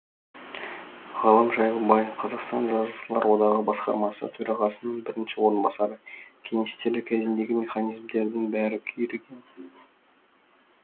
ғалым жайлыбай қазақстан жазушылар одағы басқармасы төрағасының бірінші орынбасары кеңестер кезіндегі механизмдердің бәрі күйреген